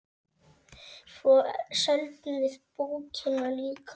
Svo seldum við bókina líka.